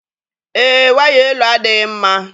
Èé, waya elu adịghị mma